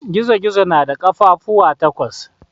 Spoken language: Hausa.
Gizo-gizo na da kafafuwa takwas.